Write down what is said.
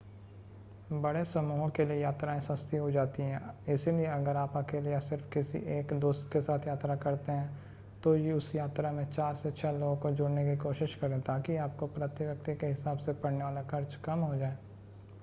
बड़े समूहों के लिए यात्राएं सस्ती हो जाती हैं इसलिए अगर आप अकेले या सिर्फ़ किसी एक दोस्त के साथ यात्रा करते हैं तो उस यात्रा में चार से छह लोगों को जोड़ने की कोशिश करें ताकि आपको प्रति व्यक्ति के हिसाब से पड़ने वाला खर्च कम हो जाए